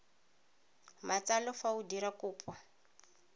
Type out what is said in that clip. matsalo fa o dira kopo